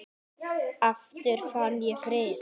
Aftur fann ég frið.